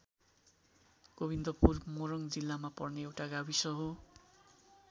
गोविन्दपुर मोरङ जिल्लामा पर्ने एउटा गाविस हो।